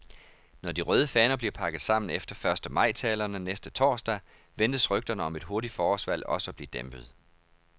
Når de røde faner bliver pakket sammen efter første majtalerne næste torsdag, ventes rygterne om et hurtigt forårsvalg også at blive dæmpet.